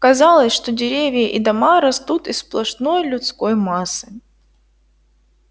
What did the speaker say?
казалось что деревья и дома растут из сплошной людской массы